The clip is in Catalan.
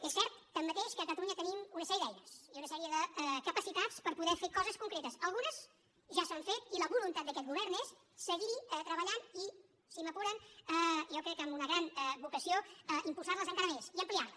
és cert tanmateix que a catalunya tenim una sèrie d’eines i una sèrie de capacitats per poder fer coses concretes algunes ja s’han fet i la voluntat d’aquest govern és seguir hi treballant i si m’apuren jo crec que amb una gran vocació impulsar les encara més i ampliar les